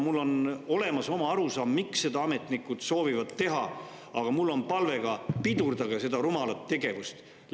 Mul on oma arusaam, miks ametnikud seda soovivad teha, aga mul on ka palve: pidurdage seda rumalat tegevust!